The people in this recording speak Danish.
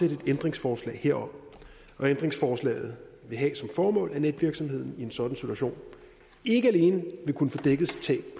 et ændringsforslag herom og ændringsforslaget vil have som formål at netvirksomheden i en sådan situation ikke alene vil kunne få dækket sit tab